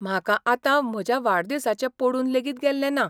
म्हाका आतां म्हज्या वाडदिसाचें पडून लेगीत गेल्लें ना.